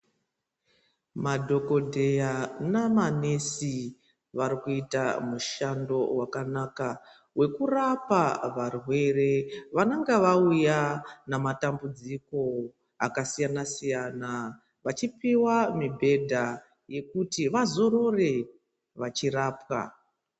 Madhokodheya namanesi warikuita mushando wakanaka wekurapa varwere wanonga wauya namatambudziko akasiyana siyana. Wachipiwa mibhedha yekuti vazorore vachirapwa.